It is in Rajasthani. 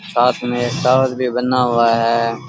साथ में पार्क भी बना हुआ है।